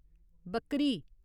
बक्करी